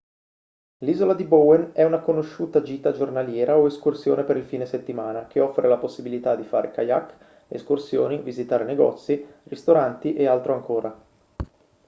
l'isola di bowen è una conosciuta gita giornaliera o escursione per il fine settimana che offre la possibilità di fare kayak escursioni visitare negozi ristoranti e altro ancora